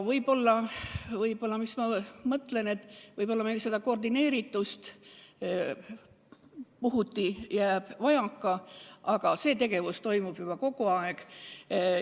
Võib-olla koordineeritust puhuti jääb vajaka, aga see tegevus toimub kogu aeg.